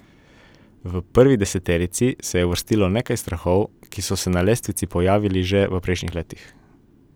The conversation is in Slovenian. V prvo deseterico se je uvrstilo nekaj strahov, ki so se na lestvici pojavljali že v prejšnjih letih.